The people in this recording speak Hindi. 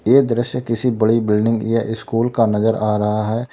ये दृश्य किसी बड़ी बिल्डिंग या स्कूल का नजर आ रहा है।